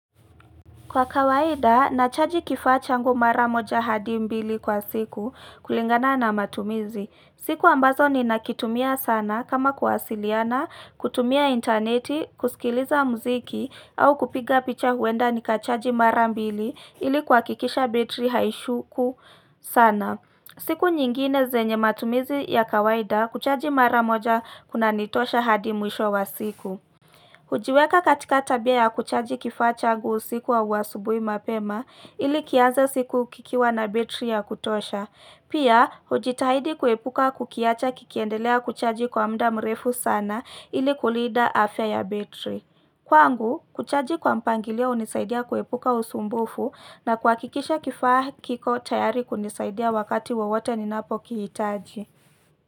Kwa kawaida, nachaji kifaa changu mara moja hadi mbili kwa siku kulingana na matumizi. Siku ambazo ninakitumia sana kama kuwasiliana, kutumia interneti, kusikiliza muziki au kupiga picha huenda nikachaji mara mbili ili kuhakikisha betri haishuku sana. Siku nyingine zenye matumizi ya kawaida kuchaji mara moja kunanitosha hadi mwisho wa siku. Kujiweka katika tabia ya kuchaji kifacha changu usiku au asubuhi mapema ili kianze siku kikiwa na betri ya kutosha. Pia, hujitahidi kuepuka kukiacha kikiendelea kuchaji kwa mda mrefu sana ili kulinda afya ya betri. Kwangu, kuchaji kwa mpangilio hunisaidia kuepuka usumbufu na kuhakikisha kifaa kiko tayari kunisaidia wakati wowote ninapokihitaji.